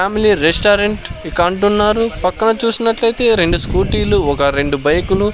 Family restaurant ఇక అంటున్నారు పక్కన చూసినట్లయితే రెండు స్కూటీలు ఒక రెండు బైకులు .